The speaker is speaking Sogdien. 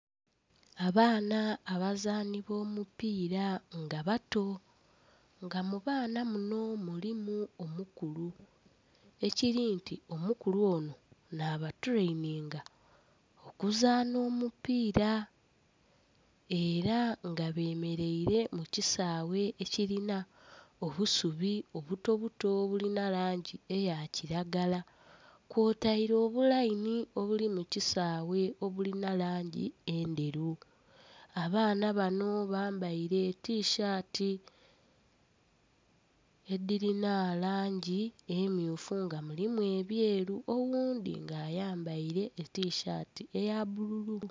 Abaana abazaani b'omupiira nga bato. Nga mu baana muno mulimu omukulu, ekiri nti omukulu ono nh'abatuleyininga okuzaana omupiira. Era nga bemeleire mu kisaawe ekilina obusubi obutobuto obulina langi eya kilagala. Kwotaire obulayini obuli mu kisaawe obulina langi endheru. Abaana bano bambaile tishaati edhilina langi emmyufu nga mulimu ebyeru. Oghundhi nga ayambaile etishaati eya bbululu.